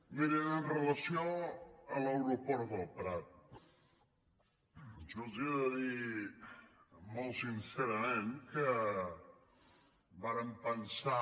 mirin amb relació a l’aeroport del prat jo els he de dir molt sincerament que vàrem pensar